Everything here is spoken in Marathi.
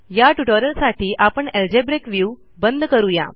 या ट्युटोरियलसाठी आपण अल्जेब्रिक व्ह्यू बंद करू या